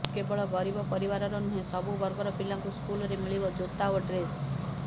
କେବଳ ଗରିବ ପରିବାରର ନୁହେଁ ସବୁ ବର୍ଗର ପିଲାଙ୍କୁ ସ୍କୁଲରେ ମିଳିବ ଜୋତା ଓ ଡ୍ରେସ୍